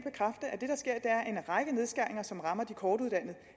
række nedskæringer som rammer de kortuddannede